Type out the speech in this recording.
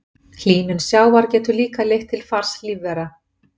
Hlýnun sjávar getur líka leitt til fars lífvera.